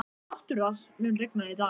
Náttúra, mun rigna í dag?